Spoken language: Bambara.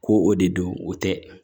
Ko o de don o tɛ